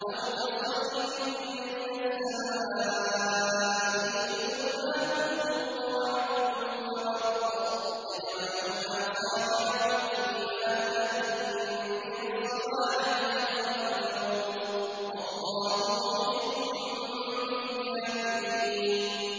أَوْ كَصَيِّبٍ مِّنَ السَّمَاءِ فِيهِ ظُلُمَاتٌ وَرَعْدٌ وَبَرْقٌ يَجْعَلُونَ أَصَابِعَهُمْ فِي آذَانِهِم مِّنَ الصَّوَاعِقِ حَذَرَ الْمَوْتِ ۚ وَاللَّهُ مُحِيطٌ بِالْكَافِرِينَ